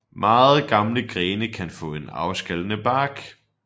Meget gamle grene kan få en afskallende bark